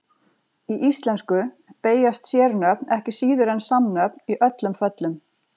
Í íslensku beygjast sérnöfn ekki síður en samnöfn í öllum föllum.